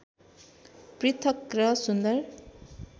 पृथक् र सुन्दर